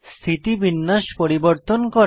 স্থিতিবিন্যাস পরিবর্তন করা